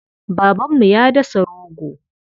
Babanmu ya dasa rogo.